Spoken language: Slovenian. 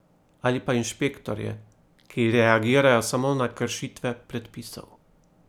Ali pa inšpektorje, ki reagirajo samo na kršitve predpisov?